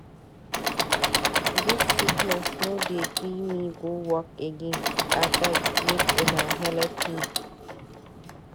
Dis sickness no dey gree me go work again, abeg make una helep me.